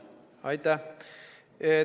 Aitäh!